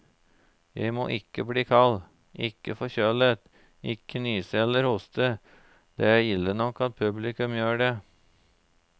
Jeg må ikke bli kald, ikke forkjølet, ikke nyse eller hoste, det er ille nok at publikum gjør det.